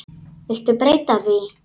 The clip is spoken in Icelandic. Viltu breyta því